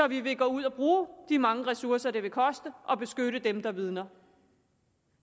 vi vil gå ud og bruge de mange ressourcer det vil koste at beskytte dem der vidner